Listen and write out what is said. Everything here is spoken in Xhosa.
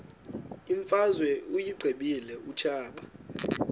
imfazwe uyiqibile utshaba